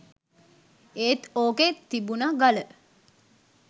ඒත් ඕකෙ තිබුණ ගල